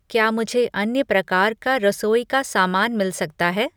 क्या मुझे अन्य प्रकार का रसोई का सामान मिल सकता है?